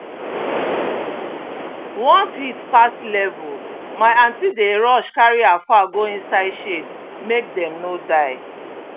once heat pass level my aunty dey rush carry her fowl go inside shade make dem no die